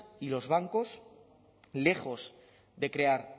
y los bancos lejos de crear